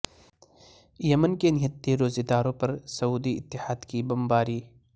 یمن کے نہتے روزہ داروں پر سعودی اتحاد کی بمباری